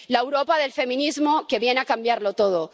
La Europa del feminismo que viene a cambiarlo todo